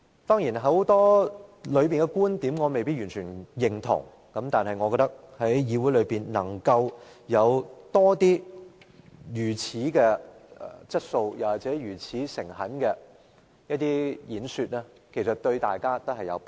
當然，當中很多觀點，我未必完全認同，但我覺得議會如能有更多如此具質素或誠懇的演說，對大家也有裨益。